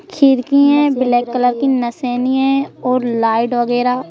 खीर की है black colour की नसेनी है और लाइट वगैरह--